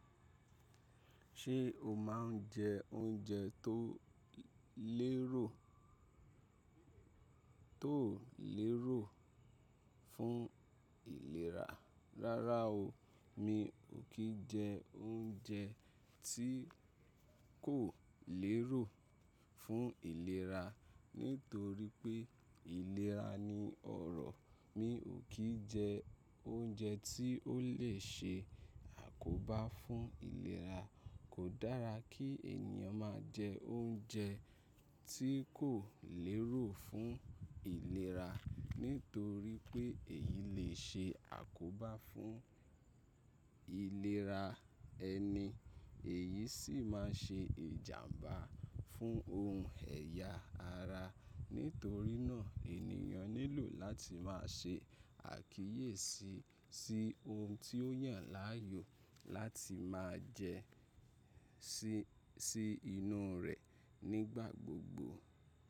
Ṣé o máa ń jẹ oúnjẹ tó lérò, tó lérò fún ìlera? Rárá o, mi ò kí jẹ oúnjẹ tí kò lérò fún ìlera. Nítorí pé ìlera ni ọrọ̀, mi ò kí jẹ oúnjẹ tí ó lè ṣe àkóbá fún ìlera. Kò dára kí ènìyàn máa jẹ oúnjẹ tí kò lérò fún ìlera. Nítorí pé èyí lè ṣe àkóbá fún ìlera ẹni, èyí sì máa ṣe ìjàmbá fún ohun ẹ̀ya ara. Nítorí náà ènìyàn nílò láti máa ṣe àkíyèsí sí ohun tí ó yàn láàyò láti máa jẹ sí inú rẹ̀ nígbà gbogbo.